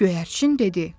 Göyərçin dedi.